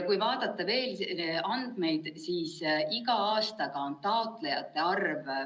Kui vaadata veel andmeid, siis iga aastaga on taotlejate arv vähenenud.